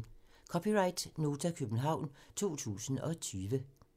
(c) Nota, København 2020